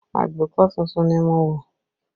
Agbékọ̀ tuntun ni mo wọ̀